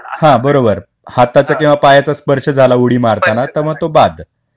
बरोबर. हाताचा किंवा पायाचा स्पर्श झाला उडी मारताना तर मग तो बाद.